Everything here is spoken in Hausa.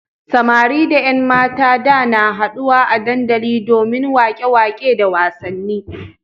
Samari da ƴan matan da na haɗuwa a dandali domin waƙe-waƙe da wasanni.